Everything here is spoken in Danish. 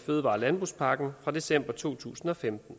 fødevare og landbrugspakken fra december to tusind og femten